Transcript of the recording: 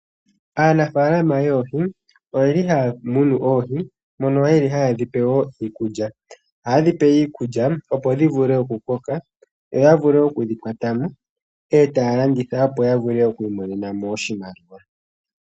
Anafaalama yoohi oye li haya munu oohi mono yeli haye dhipe wo iikulya, aye dhipe iikulya opo dhi vule oku koka yo ya vule okudhi kwata mo e taya landitha opo ya vule oku imone na mo oshimaliwa.